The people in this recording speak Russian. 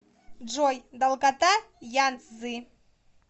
джой долгота янцзы